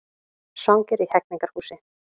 Svangir í Hegningarhúsi